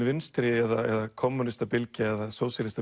vinstri eða kommúnistabylgja eða